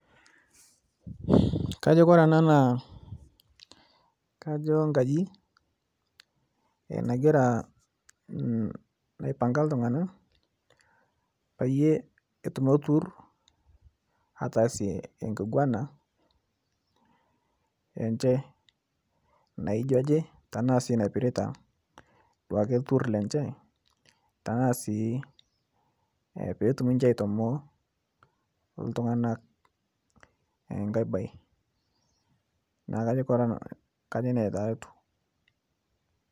Kajo ore ena naa enkajit naipanga iltung'ana peyie etumoki olturur atasie enkiguana enye naijio naipirta duake oltur lenye taasi petum aitamoo iltung'ana enkae mbae kajo nanu nejia taa etieu